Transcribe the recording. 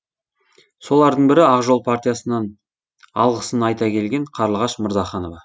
солардың бірі ақ жол партиясынан алғысын айта келген қарлығаш мырзаханова